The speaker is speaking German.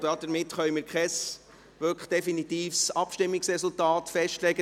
Damit können wir kein wirklich definitives Abstimmungsresultat festlegen.